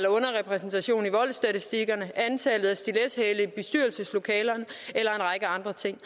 underrepræsentation i voldsstatistikkerne antallet af stilethæle i bestyrelseslokaler eller en række andre ting